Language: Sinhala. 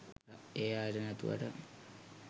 ඒ අයට නැතුවට.